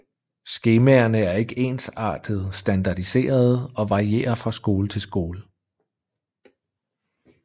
Skemaerne er ikke ensartet standardiserede og varierer fra skole til skole